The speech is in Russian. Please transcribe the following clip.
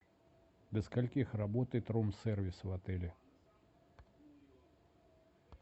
до скольки работает рум сервис в отеле